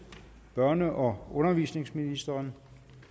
børne og undervisningsministeren